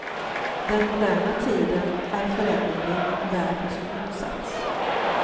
Den moderna tiden är föränderlig och bär på sin motsats.